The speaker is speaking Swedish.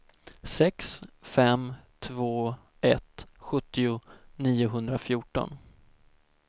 sex fem två ett sjuttio niohundrafjorton